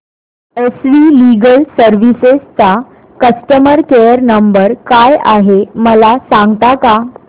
S V legal services चा customer care number काय आहे मला सांगता का